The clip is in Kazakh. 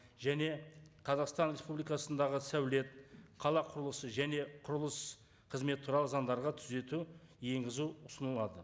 және қазақстан республикасындағы сәулет қала құрылысы және құрылыс қызметі туралы заңдарға түзету енгізу ұсынылады